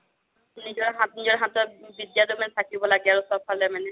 নিজৰ হাতত, নিজৰ হাতত বিদ্যাটো মানে থাকিব লাগে চ'বফালে মানে